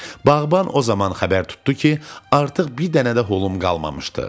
Bağban o zaman xəbər tutdu ki, artıq bir dənə də hulum qalmamışdı.